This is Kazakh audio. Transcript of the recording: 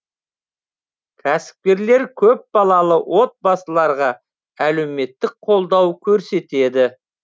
кәсіпкерлер көпбалалы отбасыларға әлеуметтік қолдау көрсетеді